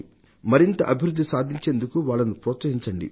మరింత అభివృద్ధిని సాధించేందుకు వాళ్లను ప్రోత్సహించండి